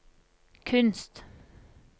kunst